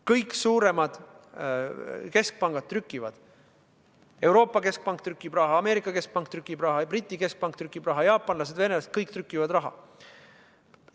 Kõik suuremad keskpangad trükivad raha: Euroopa keskpank trükib raha, Ameerika keskpank trükib raha, Briti keskpank trükib raha, jaapanlased, venelased, kõik trükivad raha.